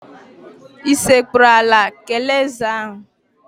Ị sekpuru ala kelee ézè ahụ?